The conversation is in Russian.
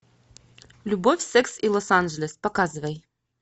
любовь секс и лос анджелес показывай